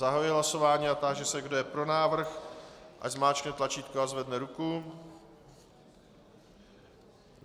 Zahajuji hlasování a táži se, kdo je pro návrh, ať zmáčkne tlačítko a zvedne ruku.